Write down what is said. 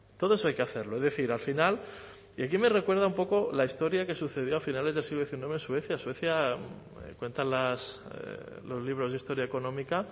todo eso hay que hacerlo es decir al final y aquí me recuerda un poco la historia que sucedió a finales del siglo diecinueve en suecia en suecia cuentan los libros de historia económica